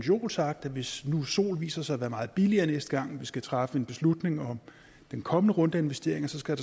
jo sagt at hvis nu sol viser sig at være meget billigere næste gang vi skal træffe en beslutning om den kommende runde af investeringer så skal